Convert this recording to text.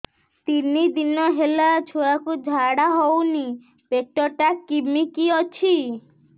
ତିନି ଦିନ ହେଲା ଛୁଆକୁ ଝାଡ଼ା ହଉନି ପେଟ ଟା କିମି କି ଅଛି